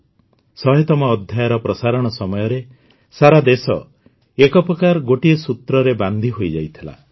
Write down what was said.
୧୦୦ତମ ଅଧ୍ୟାୟର ପ୍ରସାରଣ ସମୟରେ ସାରା ଦେଶ ଏକ ପ୍ରକାର ଗୋଟିଏ ସୂତ୍ରରେ ବାନ୍ଧି ହୋଇଯାଇଥିଲା